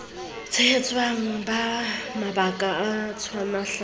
tshehetswa ka mabaka a utlwahalang